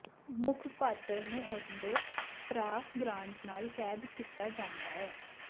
ਮੁੱਖ ਪਾਤਰ ਨੂੰ ਉਸਦੇ ਭਰਾ ਗ੍ਰਾਂਟ ਨਾਲ ਕੈਦ ਕੀਤਾ ਜਾਂਦਾ ਹੈ